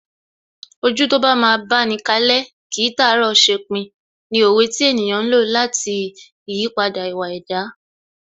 Ojú tó bá máa báni kalẹ́, kìí tàárọ̀ ṣepin ni òwe tí ènìyàn ń lò lati ìyípadà ìwà ẹ̀dá